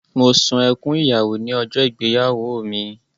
Mo sun ẹkún ìyàwó ní ọjọ́ ìgbéyàwó mi.